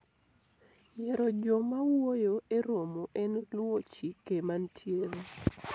yiero joma wuoyo e romo en luwo chike mantiere